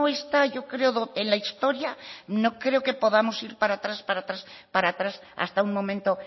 está yo creo en la historia no creo que podamos ir para atrás para atrás para atrás hasta un momento